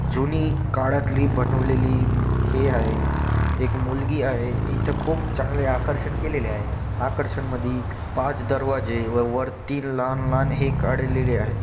जुनी काळातली बनवलेली हे आहे. एक मुलगी आहे. इथ खूप चांगले आकर्षण केलेले आहे आकर्षण मधी पाच दरवाजे व वर तीन लहान-लहान हे काढलेले आहेत.